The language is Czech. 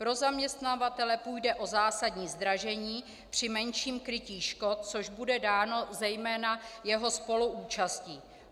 Pro zaměstnavatele půjde o zásadní zdražení při menším krytí škod, což bude dáno zejména jeho spoluúčastí.